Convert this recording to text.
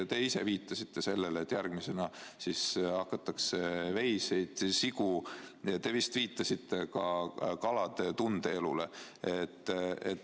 Te ise viitasite, et järgmisena siis hakatakse keelama veiseid ja sigu ning te vist viitasite ka kalade tundeelule.